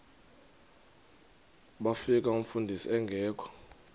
bafika umfundisi engekho